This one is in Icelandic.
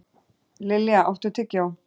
Lilja, áttu tyggjó?